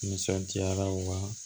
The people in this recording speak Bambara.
Nisɔndiyara wa